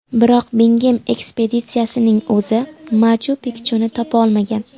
Biroq Bingem ekspeditsiyasining o‘zi Machu-Pikchuni topa olmagan.